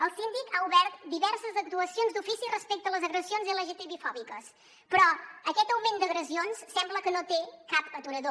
el síndic ha obert diverses actuacions d’ofici respecte a les agressions lgtbifòbiques però aquest augment d’agressions sembla que no té cap aturador